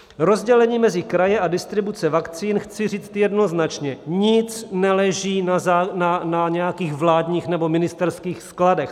Rozdělení mezi kraje a distribuce vakcín: chci říct jednoznačně, nic neleží na nějakých vládních nebo ministerských skladech.